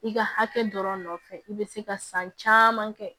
I ka hakɛ dɔrɔn nɔ nɔfɛ i bɛ se ka san caman kɛ